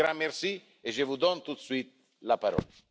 Un grand merci et je vous donne tout de suite la parole.